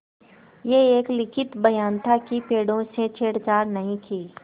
यह एक लिखित बयान था कि पेड़ों से छेड़छाड़ नहीं की